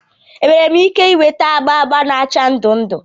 Enwere m ike ị nweta agba agba na acha ndụ ndụ?